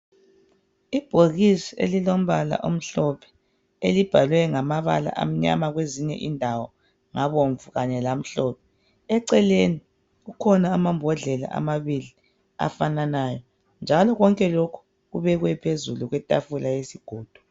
Ibhokisi elilombala omhlophe elibhalwe ngamabala amnyama kwezinye indawo ngabomvu kanye lamhlophe. Eceleni kukhona amambodlela amabili afananayo, njalo konke lokhu kubekwe phezulu kwetafula yezigodo.